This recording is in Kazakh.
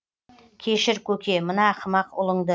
кешір көке мына ақымақ ұлыңды